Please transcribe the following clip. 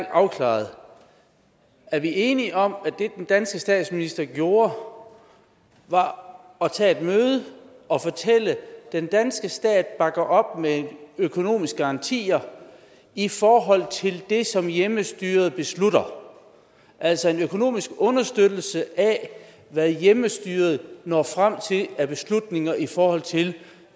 afklaret er vi enige om at det den danske statsminister gjorde var at tage et møde og fortælle at den danske stat bakker op med økonomiske garantier i forhold til det som hjemmestyret beslutter altså en økonomisk understøttelse af hvad hjemmestyret når frem til af beslutninger i forhold til